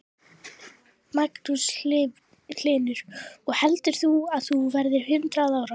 Magnús Hlynur: Og heldur þú að þú verðir hundrað ára?